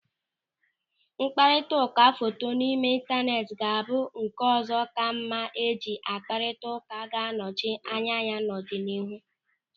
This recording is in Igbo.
Mkparịtaụka foto n'ime intaneeti ga-abụ nke ụzọ ka mma eji akparita ụka ga-anọchi anya ya n'ọdịnihu.